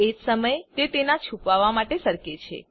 એજ સમયે તે તેનાં છુપાવા માટે સરકે છે